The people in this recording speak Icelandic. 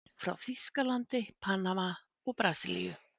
Frá Þýskalandi, Panama og Brasilíu.